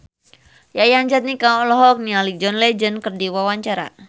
Yayan Jatnika olohok ningali John Legend keur diwawancara